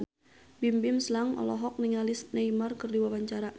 Bimbim Slank olohok ningali Neymar keur diwawancara